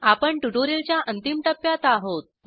आपण ट्यूटोरियलच्या अंतिम टप्प्यात आहोत